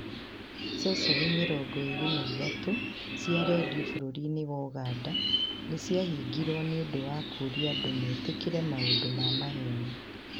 Ceceni 23 cia redio bũrũri-inĩ wa Uganda nĩ ciahingirũo nĩ ũndũ wa 'kũũria andũ metĩkĩre maũndũ ma maheeni.